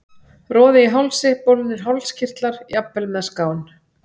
Roði í hálsi, bólgnir hálskirtlar, jafnvel með skán.